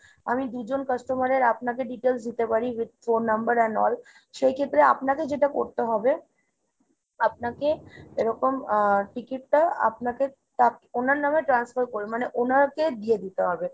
আমি দু'জন customer এর আপনাকে details দিতে পারি with phone number an all। সেই ক্ষেত্রে আপনাকে যেটা করতে হবে, আপনাকে এরকম আহ ticket টা আপনাকে ওনার নাম transfer করে মানে ওনাকে দিয়ে দিতে হবে।